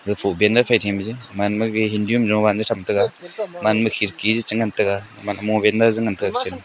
aga fof pen thaw ma je hindu am jowan a tham tega gaman ma khirki a chi ngan tega chi ngan tega.